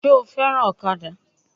Sé o fẹ́ràn ọ̀kadà?